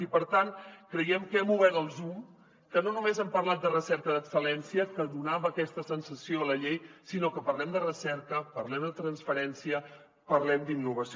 i per tant creiem que hem obert el zoom que no només hem parlat de recerca d’excel·lència que donava aquesta sensació la llei sinó que parlem de recerca parlem de transferència parlem d’innovació